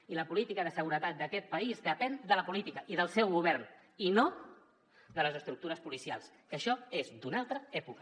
i la política de seguretat d’aquest país depèn de la política i del seu govern i no de les estructures policials que això és d’una altra època